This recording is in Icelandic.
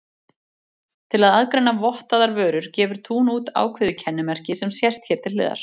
Til að aðgreina vottaðar vörur gefur Tún út ákveðið kennimerki sem sést hér til hliðar.